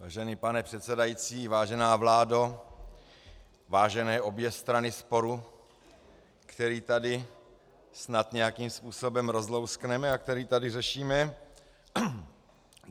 Vážený pane předsedající, vážená vládo, vážené obě strany sporu, který tady snad nějakým způsobem rozlouskneme a který tady řešíme.